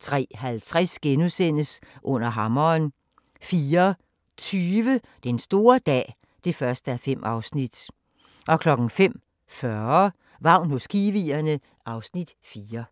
03:50: Under hammeren * 04:20: Den store dag (1:5) 05:40: Vagn hos kiwierne (Afs. 4)